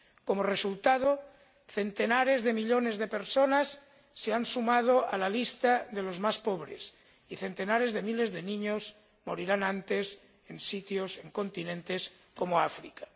Como resultado, centenares de millones de personas se han sumado a la lista de los más pobres y centenares de miles de niños morirán antes en continentes como África.